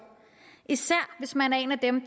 især hvis man er en af dem